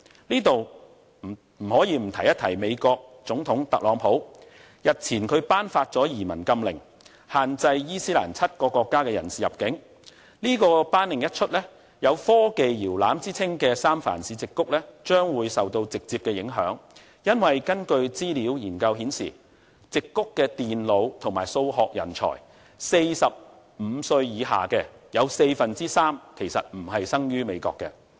我在此不得不提及美國總統特朗普，日前他頒發了移民禁令，限制7個伊斯蘭國家的人士入境，這項頒令一出，將會令有科技搖籃之稱的三藩市矽谷受到直接的影響，因為根據資料研究顯示，矽谷的電腦和數學人才、45歲以下的人士，有四分之三其實並非生於美國。